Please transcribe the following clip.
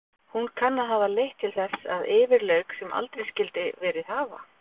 Hún kann að hafa leitt til þess að yfir lauk sem aldrei skyldi verið hafa.